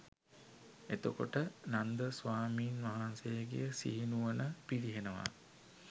එතකොට නන්ද ස්වාමීන් වහන්සේගේ සිහි නුවණ පිරිහෙනවා